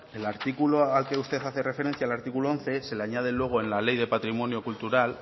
el artículo al que usted hace referencia el artículo once se le añade luego en la ley de patrimonio cultural